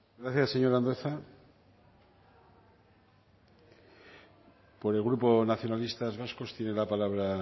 gracias señor andueza por el grupo nacionalistas vascos tiene la palabra